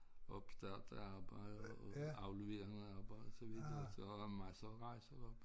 Opstart af arbejde og aflevering af arbejde så videre så jeg har haft masser af rejser derop